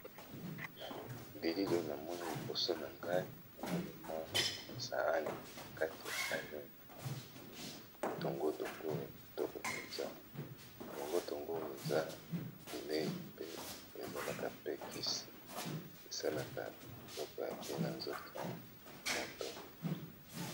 Bilili oyo namoni liboso na ngai namoni mwa saani na kati ya sani oyo namoni dongo dongo ya kitoko mpenza, dongo dongo oyo eza bileyi pe ezalaka pe kisi esalaka biloko ya bien na nzoto ya moto.